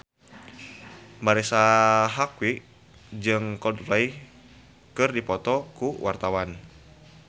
Marisa Haque jeung Coldplay keur dipoto ku wartawan